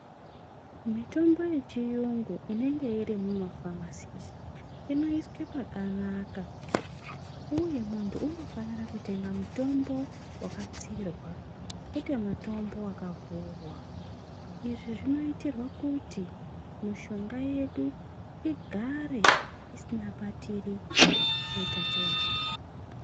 Mitombo yechiyungu inenge iri mumuphamasi inoiswa pakanaka uye muntu unofanira kutenga mitombo waladziirwa kwete mutombo wakavhurwa izvi zvinoitirwa kuti mushonga yedu igare isingabatiri utachiwana.